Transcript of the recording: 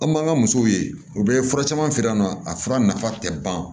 An b'an ka musow ye u bɛ fura caman feere yan nɔ a fura nafa tɛ ban